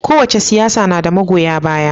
Kowace siyasa na da magoya baya.